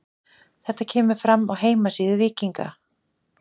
Þetta kemur fram á heimasíðu Víkinga.